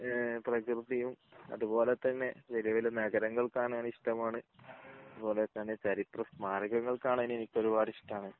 ഈഹ് പ്രകൃതിയും അതുപോലെ തന്നെ വലിയ വലിയ നഗരങ്ങൾ കാണാൻ ഇഷ്ടമാണ്. അതുപോലെ തന്നെ ചരിത്ര സ്മാരകങ്ങൾ കാണാൻ എനിക്ക് ഒരുപാട് ഇഷ്ടമാണ്